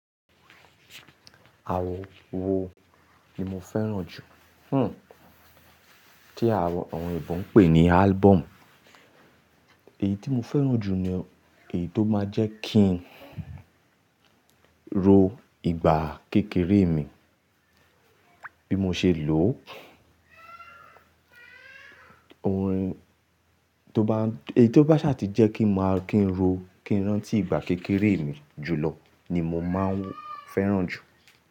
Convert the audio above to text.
Àwo wo ni mo fẹ́ràn jù? Hmm, tí àwọn èébó ń pè ní album. Èyí tí mo fẹ́ràn jù ni èyí tó máa ń jẹ́ kí n ro ìgbà kékeré mi bí mo ṣe lò ó. Ohun tó bá, èyí tó bá ṣàtì jẹ́ kí n máa kí n ro, kí n rántí ìgbà kékeré mi jùlọ ni mo máa ń fẹ́ràn jù.